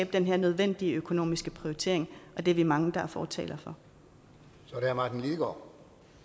den her nødvendige økonomiske prioritering og det er vi mange der er fortalere for